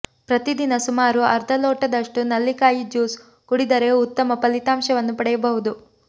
ಪ್ರತಿದಿನ ಸುಮಾರು ಅರ್ಧ ಲೋಟದಷ್ಟು ನಲ್ಲಿಕಾಯಿ ಜ್ಯೂಸ್ ಕುಡಿದರೆ ಉತ್ತಮ ಫಲಿತಾಂಶವನ್ನು ಪಡೆಯಬಹುದು